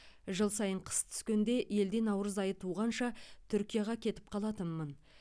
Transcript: жыл сайын қыс түскенде елде наурыз айы туғанша түркияға кетіп қалатынмын